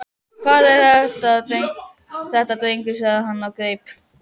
Hvað er þetta drengur? sagði hann og greip